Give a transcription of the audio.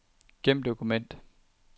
Gem dokument.